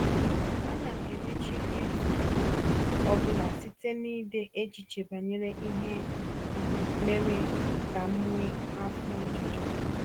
Ana m emechi izu ọ um bụla site n’ide echiche banyere ihe um mere ka m nwee afọ ojuju.